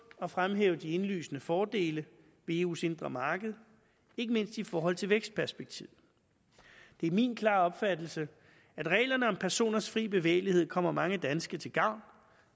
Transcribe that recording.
at fremhæve de indlysende fordele ved eus indre marked ikke mindst i forhold til vækstperspektivet det er min klare opfattelse at reglerne om personers fri bevægelighed kommer mange danske til gavn